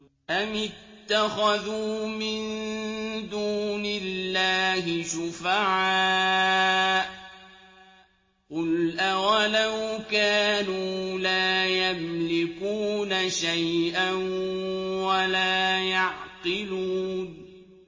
أَمِ اتَّخَذُوا مِن دُونِ اللَّهِ شُفَعَاءَ ۚ قُلْ أَوَلَوْ كَانُوا لَا يَمْلِكُونَ شَيْئًا وَلَا يَعْقِلُونَ